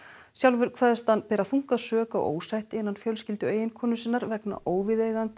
sjálfur kveðst hann bera þunga sök á ósætti innan fjölskyldu eiginkonu sinnar vegna óviðeigandi